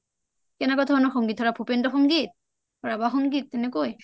কেনেকুৱা ধৰণৰ সংগীত ভোপিনদ্ৰ সংগীত ৰাভা সংগীত তেনেকৈ ?